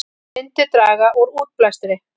Myndi draga úr útblæstri